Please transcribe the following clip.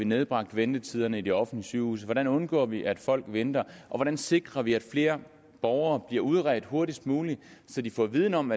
nedbragt ventetiderne på de offentlige sygehuse hvordan undgår vi at folk venter hvordan sikrer vi at flere borgere bliver udredt hurtigst muligt så de får en viden om